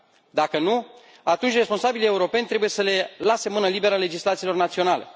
Dacă nu, atunci responsabilii europeni trebuie să le lase mână liberă legislațiilor naționale.